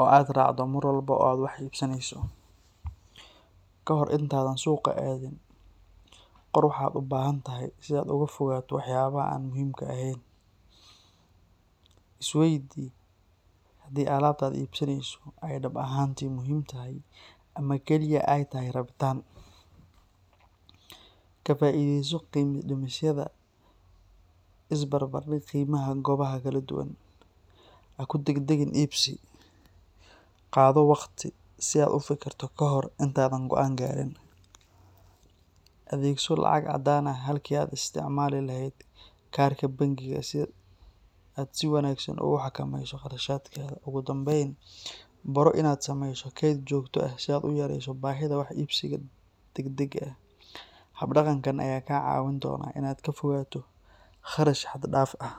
oo aad raacdo mar walba oo aad wax iibsanayso. Ka hor intaadan suuqa aadin, qor waxa aad u baahantahay si aad uga fogaato waxyaabaha aan muhiimka ahayn. Is waydii haddii alaabta aad iibsanayso ay dhab ahaantii muhiim tahay ama kaliya ay tahay rabitaan. Ka faa’iidayso qiimo dhimisyada iyo is barbar dhig qiimaha goobaha kala duwan. Ha ku degdegin iibsi; qaado waqti si aad u fikirto ka hor intaadan go’aan gaarin. Adeegso lacag caddaan ah halkii aad ka isticmaali lahayd kaarka bangiga si aad si wanaagsan ugu xakameyso qarashaadka. Ugu dambayn, baro inaad samayso kayd joogto ah si aad u yareyso baahida wax iibsiga degdega ah. Hab-dhaqankan ayaa kaa caawin doona inaad ka fogaato qarash xad-dhaaf ah.